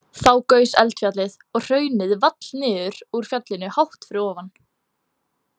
Þá gaus eldfjallið og hraunið vall niður úr fjallinu hátt fyrir ofan.